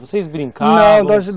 Vocês brincavam? Não,